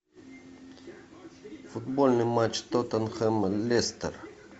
футбольный матч тоттенхэм лестер